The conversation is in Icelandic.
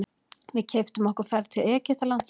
Við keyptum okkur ferð til Egyptalands.